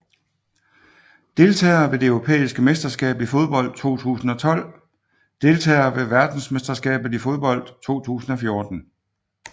Deltagere ved det europæiske mesterskab i fodbold 2012 Deltagere ved verdensmesterskabet i fodbold 2014